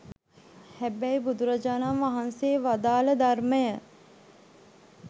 හැබැයි බුදුරජාණන් වහන්සේ වදාළ ධර්මය